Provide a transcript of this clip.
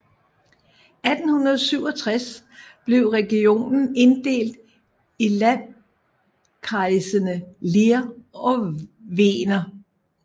I 1867 blev regionen inddelt i landkreisene Leer og Weener